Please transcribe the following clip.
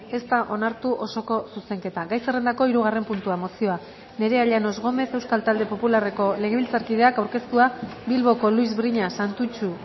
ez da onartu osoko zuzenketa gai zerrendako hirugarren puntua mozioa nerea llanos gomez euskal talde popularreko legebiltzarkideak aurkeztua bilboko luis briñas santutxu